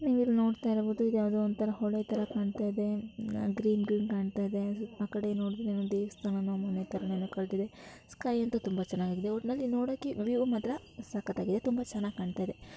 ನೀವ್ಇಲ್ ನೋಡ್ತಾಇರ್ಬೊದು ಇದ್ ಯಾವ್ದೋ ಒಂತರ ಹೊಳೆ ತರ ಕಾಣತ್ತಾ ಇದೆ. ಅಹ್ ಗ್ರೀನ್ ಗ್ರೀನ್ ಕಾಣ್ತಾ ಇದೆ ಆ ಕಡೆ ನೋಡುದ್ರೆ ದೇವಸ್ಥಾನನೋ ಮನೆತರನೋ ಏನೋ ಕಾಣತ್ತಾ ಇದೆ. ಸ್ಕೈ ಅಂತೂ ತುಂಬಾ ಚೆನ್ನಾಗಿದೆ ಒಟ್ನಲ್ಲಿ ನೋಡೋಕೆ ವ್ಯೂ ಮಾತ್ರ ಸಕ್ಕತ್ತಾಗಿದೆ ತುಂಬಾ ಚೆನಾಗ್ ಕಾಣ್ತಾ ಇದೆ.